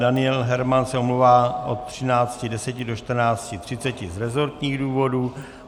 Daniel Herman se omlouvá od 13.10 do 14.30 z resortních důvodů.